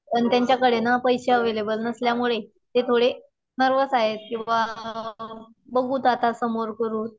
पण त्यांच्याकडे ना पैशे अव्हेलेबल नसल्यामुळे ते थोडे नर्व्हस आहेत. कि बुवा बघुत आता समोर करून.